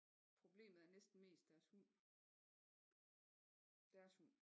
Problemet er næsten mest deres hund deres hund